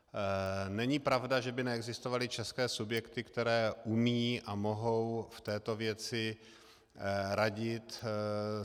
Není pravda, že by neexistovaly české subjekty, které umí a mohou v této věci radit.